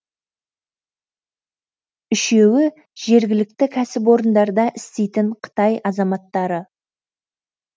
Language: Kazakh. үшеуі жергілікті кәсіпорындарда істейтін қытай азаматтары